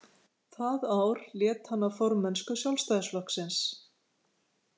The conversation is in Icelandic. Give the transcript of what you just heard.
Það ár lét hann af formennsku Sjálfstæðisflokksins.